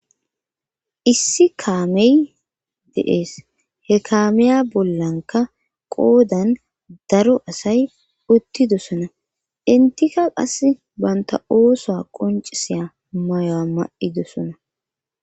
issi kaamey deees he kaamiya bollanka qoodan daro asay uttidosona intika qase baynta ooso qoncisiya mayoa ma7idosona